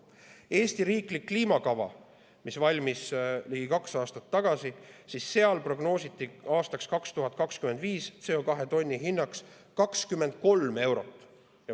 Eesti riiklikus kliimakavas, mis valmis ligi kaks aastat tagasi, prognoositi aastaks 2025 CO2 tonni hinnaks 23 eurot.